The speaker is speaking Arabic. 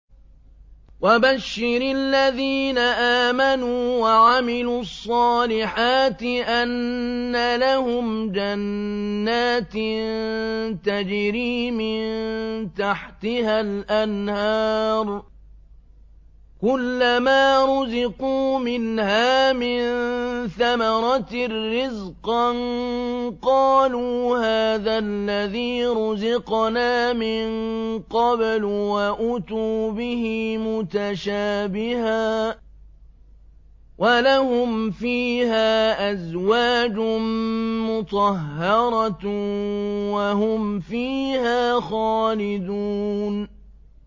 وَبَشِّرِ الَّذِينَ آمَنُوا وَعَمِلُوا الصَّالِحَاتِ أَنَّ لَهُمْ جَنَّاتٍ تَجْرِي مِن تَحْتِهَا الْأَنْهَارُ ۖ كُلَّمَا رُزِقُوا مِنْهَا مِن ثَمَرَةٍ رِّزْقًا ۙ قَالُوا هَٰذَا الَّذِي رُزِقْنَا مِن قَبْلُ ۖ وَأُتُوا بِهِ مُتَشَابِهًا ۖ وَلَهُمْ فِيهَا أَزْوَاجٌ مُّطَهَّرَةٌ ۖ وَهُمْ فِيهَا خَالِدُونَ